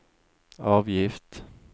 avgift